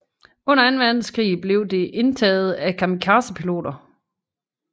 Under anden verdenskrig blev det indtaget af kamikazepiloter